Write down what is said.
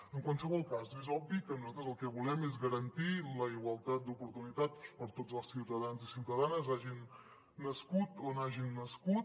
en qualsevol cas és obvi que nosaltres el que volem és garantir la igualtat d’oportunitats per a tots els ciutadans i ciutadanes hagin nascut on hagin nascut